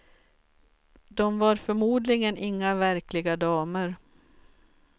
De var förmodligen inga verkliga damer.